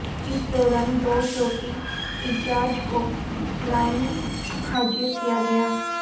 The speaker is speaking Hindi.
इस दौरान दो चौकी इंजार्ज को लाइन हाजिर किया गया